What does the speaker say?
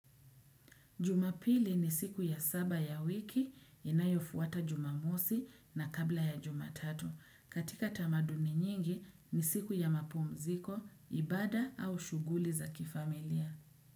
Jumapili ni siku ya saba ya wiki inayofuata jumamosi na kabla ya jumatatu. Katika tamaduni nyingi ni siku ya mapumziko, ibada au shughuli za kifamilia.